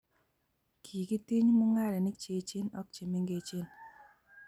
kikitiny mung'arenik che echen ak che mengechen